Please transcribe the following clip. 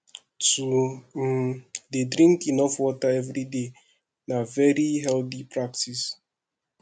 to um de drink enough water everyday na very healthy practice